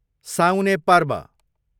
साउने पर्व